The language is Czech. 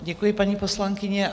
Děkuji, paní poslankyně.